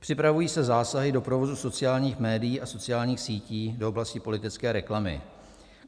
Připravují se zásahy do provozu sociálních médií a sociálních sítí, do oblasti politické reklamy.